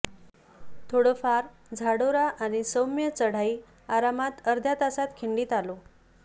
थोडफार झाडोरा आणि सौम्य चढाई आरामात अर्ध्या तासात खिंडीत आलो